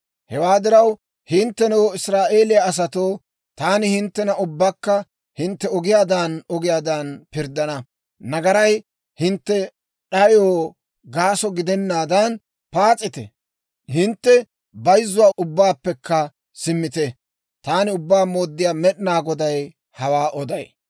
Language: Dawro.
«Hewaa diraw, hinttenoo, Israa'eeliyaa asatoo, taani hinttena ubbaakka hintte ogiyaadan ogiyaadan pirddana. Nagaray hintte d'ayoo gaaso gidennaadan paas'ite; hintte bayzzuwaa ubbaappekka simmite. Taani Ubbaa Mooddiyaa Med'inaa Goday hawaa oday.